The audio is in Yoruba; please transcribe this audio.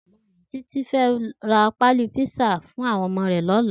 Titi fè rà pàlí pizza mètá fún áwòn òmò rè lòlá